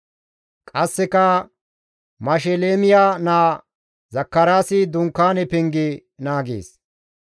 Qasseka Mashelemiya naa Zakaraasi Dunkaane penge naagees.